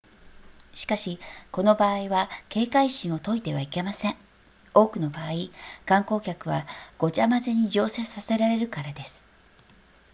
しかしこの場合は警戒心を解いてはいけません多くの場合観光客はごちゃ混ぜに乗車させられるからです